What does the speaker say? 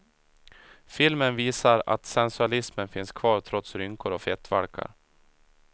Filmen visar att sensualismen finns kvar trots rynkor och fettvalkar.